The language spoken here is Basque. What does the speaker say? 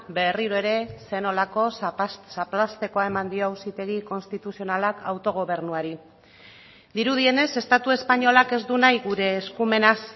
berriro ere zer nolako zaplaztekoa eman dio auzitegi konstituzionalak autogobernuari dirudienez estatu espainolak ez du nahi gure eskumenaz